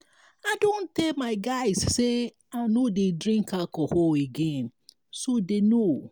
i don tell my guys say i no dey drink alcohol again so dey know